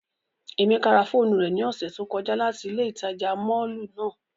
Emeka ra foonu re ni ose to koja lati ile itaja mọllu nàa